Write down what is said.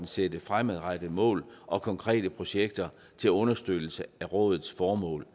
sætte fremadrettede mål og konkrete projekter til understøttelse af rådets formål